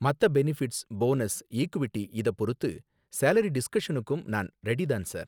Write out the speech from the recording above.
மத்த benefits, bonus, equity இத பொறுத்து சேலரி டிஸ்கஷனுக்கும் நான் ரெடி தான் சார்